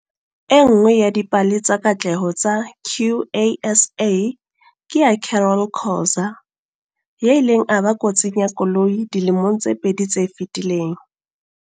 E nngwe ya dipale tsa katleho tsa QASA ke ya Carol Khoza, ya ileng a ba kotsing ya koloi dilemong tse pedi tse fetileng.